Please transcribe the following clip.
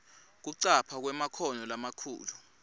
kucapha kwemakhono lamakhulu